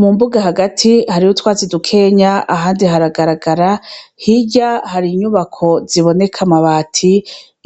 Mu mbuga hagati hariho utwatsi dukeya ahandi haragaragara hirya har'inyubako ziboneka amabati